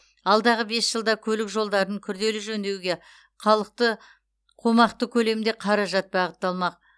алдағы бес жылда көлік жолдарын күрделі жөндеуге қомақты көлемде қаражат бағытталмақ